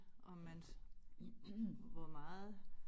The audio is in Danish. Om man hvor meget